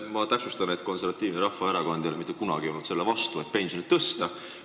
Ma täpsustan, et Konservatiivne Rahvaerakond ei ole mitte kunagi olnud selle vastu, et pensioni tõsta.